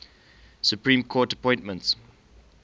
supreme court appointments